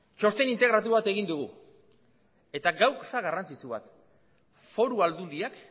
txosten integratu bat egin dugu eta gauza garrantzitsu bat foru aldundiak